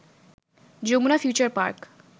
Jamuna Future park